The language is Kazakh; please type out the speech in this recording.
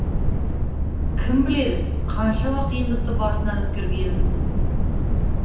кім біледі қаншама қиындықты басынан өткергенін